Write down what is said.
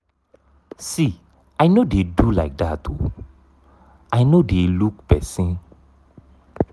see i no dey do like dat oo i no dey look person.